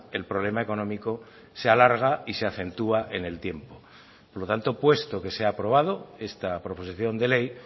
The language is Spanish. el problema económico se alarga y se acentúa en el tiempo por lo tanto puesto que se ha aprobado esta proposición de ley